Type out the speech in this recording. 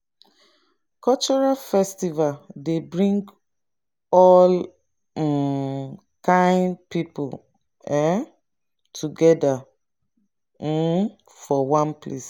cultural festival dey bring all um kain people um together um for one place